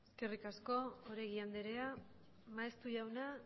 eskerrik asko oregi anderea maeztu jauna